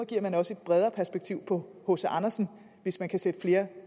giver man også et bredere perspektiv på hc andersen hvis man kan sætte flere